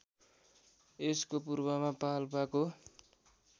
यसको पूर्वमा पाल्पाको